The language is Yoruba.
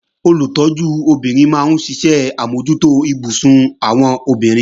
Olùtọ́jú obìnrin máa ń ṣe àmójútó ibùsùn àwọn obìnrin